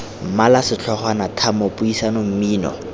mmala setlhogwana tlhamo puisano mmino